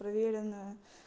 провереное